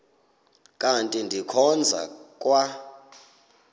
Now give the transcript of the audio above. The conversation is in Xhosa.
kanti ndikhonza kwa